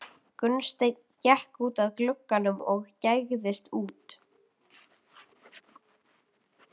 Gunnsteinn gekk út að glugganum og gægðist út.